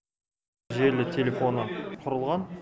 желілі телефоны құрылған